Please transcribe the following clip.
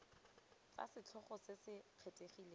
tsa setlhogo se se kgethegileng